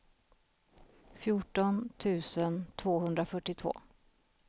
fjorton tusen tvåhundrafyrtiotvå